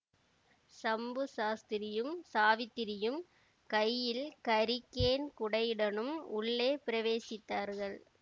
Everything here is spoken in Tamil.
சம்பு சாஸ்திரியும் சாவித்திரியும் கையில் ஹரிகேன் குடையுடனும் உள்ளே பிரவேசித்தார்கள்